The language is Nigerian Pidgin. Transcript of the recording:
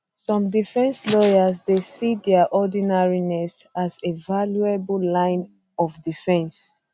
some defence lawyers dey see dia ordinariness as a a valuable line of defence